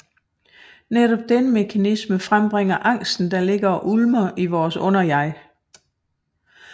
Netop denne mekanisme frembringer angsten der ligger og ulmer i vores underjeg